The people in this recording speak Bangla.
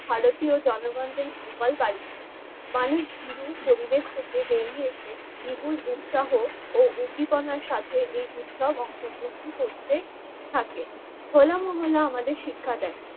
ভারতীয় জনগণদের যুগল বাড়ি ছিল। মানুষ ভিরু পরিবেশ থেকে বেরিয়ে এসে বিপুল উৎসাহ ও উদ্দীপনার সাথে এই উৎসব অংশগ্রহণ করতে থাকে হলা মহল্লা আমাদের শিক্ষা দেয় ।